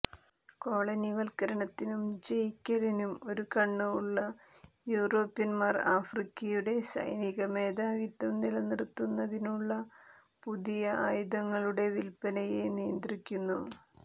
കോളനിവൽക്കരണത്തിനും ജയിക്കലിനും ഒരു കണ്ണ് ഉള്ള യൂറോപ്യന്മാർ ആഫ്രിക്കയുടെ സൈനിക മേധാവിത്വം നിലനിർത്തുന്നതിനുള്ള പുതിയ ആയുധങ്ങളുടെ വിൽപ്പനയെ നിയന്ത്രിക്കുന്നു